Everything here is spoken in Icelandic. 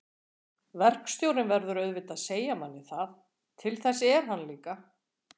Verkstjórinn verður auðvitað að segja manni það. til þess er hann líka.